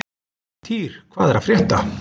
Týr, hvað er að frétta?